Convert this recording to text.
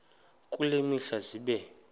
kule mihla zibe